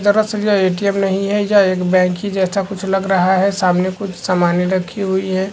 दरअसल यह ए.टी.एम. नहीं है यह एक बैंक की जैसा कुछ लग रहा है सामने कुछ सामाने रखी हुई है।